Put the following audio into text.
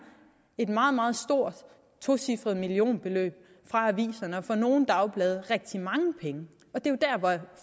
et meget meget stort tocifret millionbeløb fra aviserne for nogle dagblade var rigtig mange penge